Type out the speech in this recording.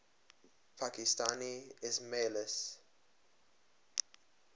pakistani ismailis